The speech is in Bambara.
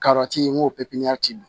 Karɛti ye n ko pipiniyɛri